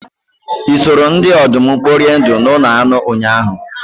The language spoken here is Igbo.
Ị soro ndị ọdụm kporie ndụ n'ụlọ anụ ụnyahụ?